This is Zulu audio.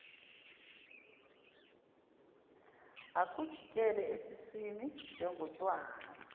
akujikele esiswini njengotshwala